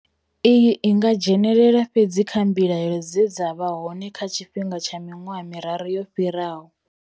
Iyi i nga dzhenelela fhedzi kha mbilahelo dze dza vha hone kha tshifhinga tsha miṅwaha miraru yo fhiraho.